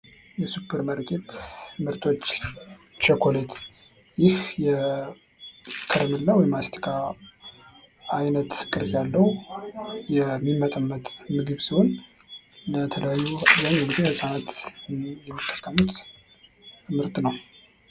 የሱፐርማርኬት ምርቶች ፦ ቸኮሌት ፦ ይህ የከረሚላ ወይም የማስቲካ አይነት ቅርጽ ያለው የሚመጠመጥ ምግብ ሲሆን ለተለያዩ ህፃናት ምርት ነው ።